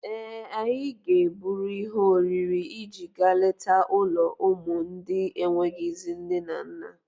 Ee, anyị ga-eburu ihe oriri iji gaa leta ụlọ ụmụ ndị enweghịzị nne na nna.